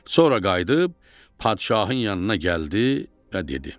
Sonra qayıdıb padşahın yanına gəldi və dedi: